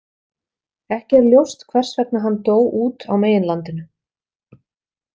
Ekki er ljóst hvers vegna hann dó út á meginlandinu.